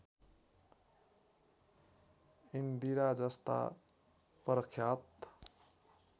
इन्दिरा जस्ता प्रख्यात